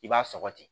I b'a sɔgɔ ten